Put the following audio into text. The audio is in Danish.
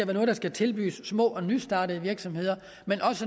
noget der skal tilbydes små og nystartede virksomheder men